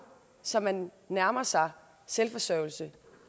så man nærmer sig selvforsørgelse